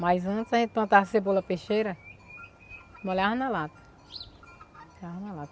Mas antes a gente plantava cebola peixeira, molhava na lata.